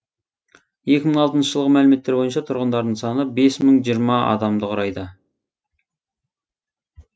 екі мың алтыншы жылғы мәліметтер бойынша тұрғындарының саны бес мың жиырма адамды құрайды